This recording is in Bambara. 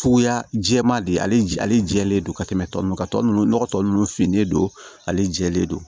Cogoya jɛman de ale jɛlen don ka tɛmɛ tɔ ninnu kan tɔ ninnu nɔgɔ tɔ ninnu finen don ale jɛlen don